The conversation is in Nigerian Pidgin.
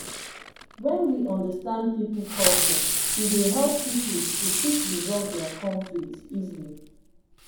when we understand pipo culture e dey help pipo to fit resolve their conflict easily